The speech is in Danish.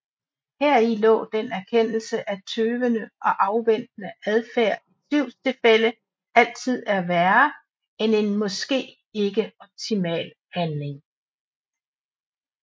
Heri lå den erkendelse af tøvende og afventende adfærd i tvivlstilfælde altid er værre end en måske ikke optimal handling